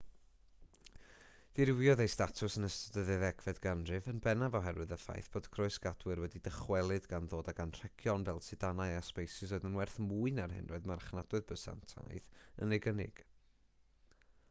dirywiodd ei statws yn ystod y ddeuddegfed ganrif yn bennaf oherwydd y ffaith fod croesgadwyr wedi dychwelyd gan ddod ag anrhegion fel sidanau a sbeisys oedd yn werth mwy na'r hyn roedd marchnadoedd bysantaidd yn ei gynnig